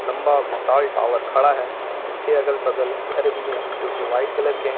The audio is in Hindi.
विशाल टावर खड़ा है। इसके अगल बगल घर भी है जोकि व्हाइट कलर के है।